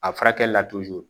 A furakɛli la